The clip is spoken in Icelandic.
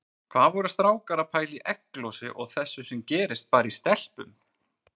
Hvað voru strákar að pæla í egglosi og þessu sem gerist bara í stelpum!